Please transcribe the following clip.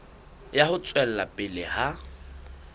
ya ho tswela pele ha